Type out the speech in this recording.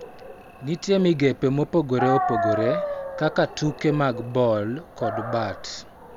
Nitie migepe mopogore opogore kaka tuke mag ball kod bat.